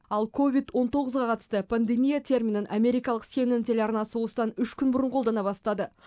ал ковид он тоғызға қатысты пандемия терминін америкалық сэнэн телеарнасы осыдан үш күн бұрын қолдана бастады